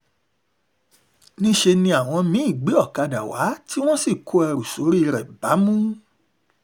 níṣẹ́ ni àwọn mí-ín gbé ọ̀kadà wá tí wọ́n sì kó ẹrù sórí rẹ̀ bámú